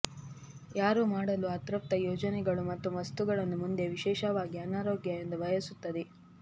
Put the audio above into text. ಯಾರೂ ಮಾಡಲು ಅತೃಪ್ತ ಯೋಜನೆಗಳು ಮತ್ತು ವಸ್ತುಗಳನ್ನು ಮುಂದೆ ವಿಶೇಷವಾಗಿ ಅನಾರೋಗ್ಯ ಎಂದು ಬಯಸುತ್ತದೆ